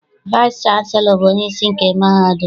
Vaịsị chanselọ bụ onyeisi nke mahadum.